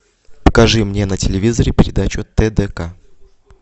покажи мне на телевизоре передачу тдк